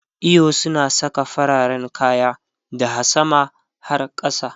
eyo suna Saka fararen kaya daha sama har kasa